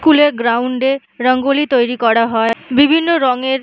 school এর ground এ রঙ্গোলি তৈরী করা হয় বিভিন্ন রঙের--